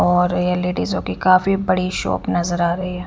और ये लेडीजों की काफी बड़ी शॉप नज़र आ रही है।